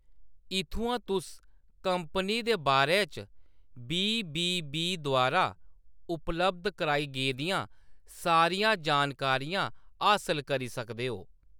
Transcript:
इत्थुआं तुस कंपनी दे बारे च बी. बी. बी. द्वारा उपलब्ध कराई गेदियां सारियां जानकारियां हासल करी सकदे ओ।